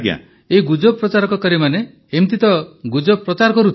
ପ୍ରଧାନମନ୍ତ୍ରୀ ଏହି ଗୁଜବ ପ୍ରଚାରକାରୀମାନେ ତ ଏମିତି ଗୁଜବ ପ୍ରଚାର କରୁଥିବେ